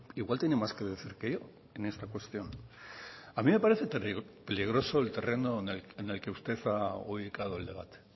igual tiene más que decir que yo en esta cuestión a mí me parece peligroso el terreno en el que usted ha ubicado el debate